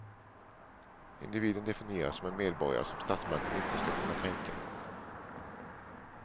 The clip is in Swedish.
Individen definieras som en medborgare som statsmakten inte ska kunna kränka.